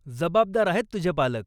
जबाबदार आहेत तुझे पालक.